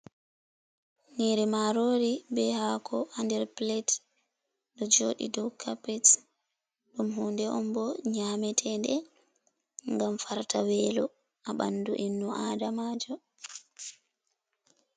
Nyiri marori be hako ha nder plet ɗo joɗi dow capets ɗum hunde on bo nyametede ngam farta welo ha ɓandu inno adamajo.